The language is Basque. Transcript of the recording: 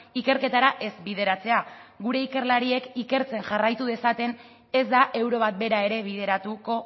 ikerketara ez bideratzea gure ikerlariek ikertzen jarraitu dezaten ez da euro bat bera ere bideratuko